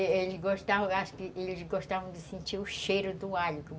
Eles gostavam, acho que eles gostavam de sentir o cheiro do alho.